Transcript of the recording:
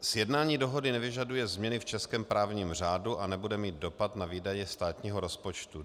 Sjednání dohody nevyžaduje změny v českém právním řádu a nebude mít dopad na výdaje státního rozpočtu.